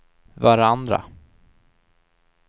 varandra